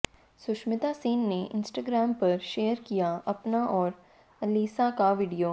सुष्मिता सेन ने इंस्टाग्राम पर शेयर किया अपना और अलिसाह का वीडियो